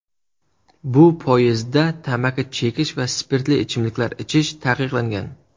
Bu poyezdda tamaki chekish va spirtli ichimliklar ichish taqiqlangan.